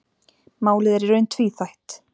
Málið er í raun tvíþætt.